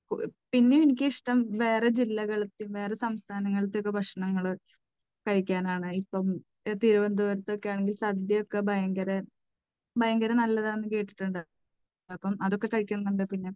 പിന്നെ എനിക്കിഷ്ടം വേറെ ജില്ലകളിലെ, വേറെ സംസ്ഥാനങ്ങളിലെ ഒക്കെ ഭക്ഷണങ്ങൾ കഴിക്കാൻ ആണ്. ഇപ്പോൾ തിരുവനന്തപുരത്ത് ഒക്കെയാണെങ്കിൽ സദ്യയൊക്കെ ഭയങ്കര ഭയങ്കര നല്ലതാണെന്നു കേട്ടിട്ടുണ്ട്. അപ്പോൾ അതൊക്കെ കഴിക്കണം എന്നുണ്ട്. പിന്നെ,